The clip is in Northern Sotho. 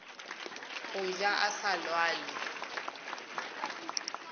go ja a sa lwale